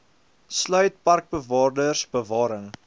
sluit parkbewaarders bewarings